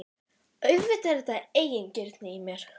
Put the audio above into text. Auðvitað er þetta eigingirni í mér.